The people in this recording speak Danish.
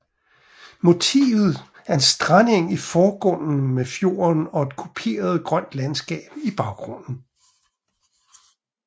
Motivet er en strandeng i forgrunden med fjorden og et kuperet grønt landskab i baggrunden